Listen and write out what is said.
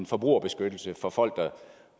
forbrugerbeskyttelse for folk